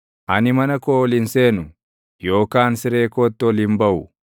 “Ani mana koo ol hin seenu; yookaan siree kootti ol hin baʼu.